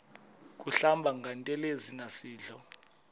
kuhlamba ngantelezi nasidlo